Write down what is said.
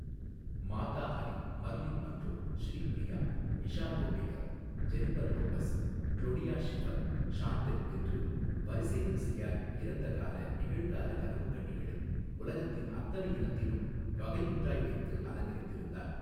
மாதாஹரி Marilyn Munro Sri Priya Isha Koppikar Jennifer லொப்பெஸ் க்ளொடியா Schiffer ஷாந்தெல் என்று வரிசைவரிசையாய் இறந்தகால நிகழ்கால கனவுக்கன்னிகளை உலகத்தின் அத்தனை இனத்திலும் வகையொன்றாய் வைத்து அலங்கரித்திருந்தார்.